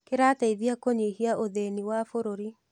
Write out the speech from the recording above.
Kĩrateithia kũnyihia ũthĩni wa bũrũri.